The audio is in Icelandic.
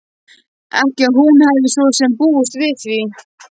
Ekki að hún hefði svo sem búist við því.